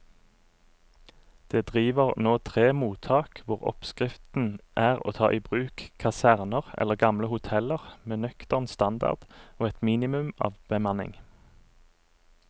Det driver nå tre mottak hvor oppskriften er å ta i bruk kaserner eller gamle hoteller med nøktern standard og et minimum av bemanning.